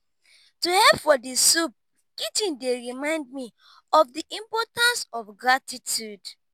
to help for di soup kitchen dey remind me of di importance of gratitude.